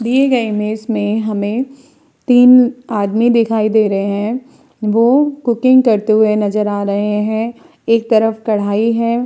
दिए गए इमेज में हमें तीन आदमी दिखाई दे रहे है। वो कुकिंग करते हुए नजर आ रहे हैं। एक तरफ कढ़ाई है।